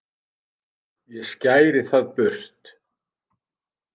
ég skæri það burt